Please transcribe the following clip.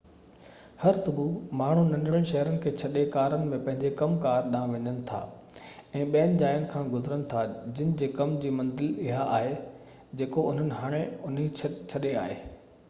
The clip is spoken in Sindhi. هر صبح ماڻهو ننڍڙن شهرن کي ڇڏي ڪارن ۾ پنهنجي ڪم ڪار ڏانهن وڃن ٿا ۽ ٻين جاين کان گذرن ٿا جن جي ڪم جي منزل اها آهي جيڪو انهن هاڻي انهن ڇڏي آهي